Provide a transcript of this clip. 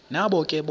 nabo ke bona